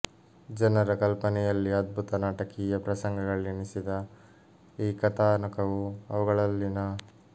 ಜನರ ಕಲ್ಪನೆಯಲ್ಲಿ ಅದ್ಭುತ ನಾಟಕೀಯ ಪ್ರಸಂಗಗಳೆನಿಸಿದ ಈ ಕಥಾನಕಗಳು ಅವುಗಳಲ್ಲಿನ